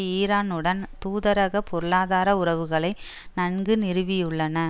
ஈரானுடன் தூதரக பொருளாதார உறவுகளை நன்கு நிறுவியுள்ளன